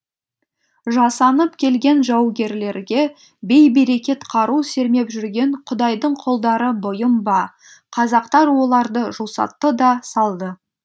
жасанып келген жаугерлерге бей берекет қару сермеп жүрген құдайдың құлдары бұйым ба қазақтар оларды жусатты да салды